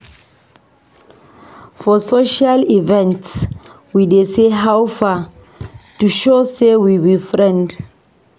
For social events, we dey say "How far?" to show sey we be friends.